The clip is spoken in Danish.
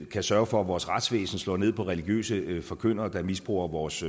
kan sørge for at vores retsvæsen slår ned på religiøse forkyndere der misbruger vores